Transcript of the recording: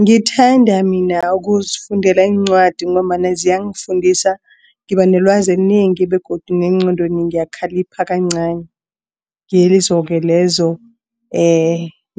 Ngithanda mina ukuzifundela iincwadi ngombana ziyangifundisa ngibanelwazi elinengi begodu negqondweni ngiyakhalipha kancani ngizo lezo